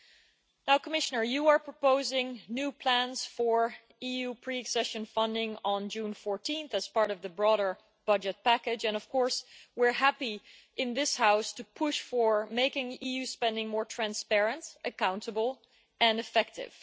The Commissioner is proposing new plans for EU pre accession funding on 14 June as part of the broader budget package and of course we are happy in this House to push for making EU spending more transparent, accountable and effective.